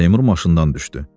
Seymur maşından düşdü.